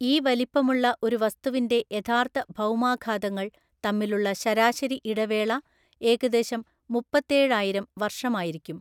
ഈ വലിപ്പമുള്ള ഒരു വസ്തുവിന്‍റെ യഥാർത്ഥ ഭൗമാഘാതങ്ങൾ തമ്മിലുള്ള ശരാശരി ഇടവേള ഏകദേശം മുപ്പത്തേഴായിരം വർഷമായിരിക്കും.